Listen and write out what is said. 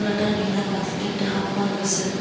এটা নীলা বাস্কেট দেখা পোৱা গৈছে।